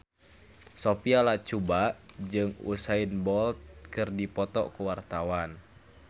Sophia Latjuba jeung Usain Bolt keur dipoto ku wartawan